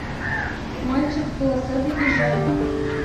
мальчик в полосатой пижаме